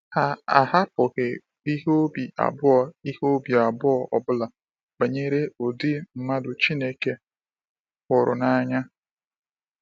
Ha ahapụghị ihe obi abụọ ihe obi abụọ ọbụla banyere ụdị mmadụ Chineke hụrụ n’anya.